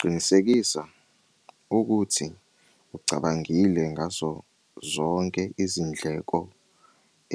Qinisekisa ukuthi ucabangile ngazo zonke izindleko